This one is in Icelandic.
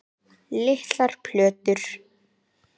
Litlar plötur